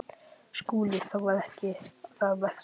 SKÚLI: Það var ekki það versta.